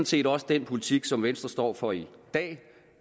set også den politik som venstre står for i dag